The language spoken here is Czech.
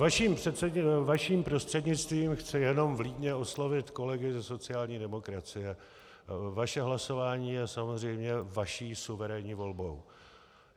Vaším prostřednictvím chci jen vlídně oslovit kolegy ze sociální demokracie: Vaše hlasování je samozřejmě vaší suverénní volbou.